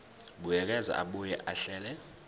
buyekeza abuye ahlele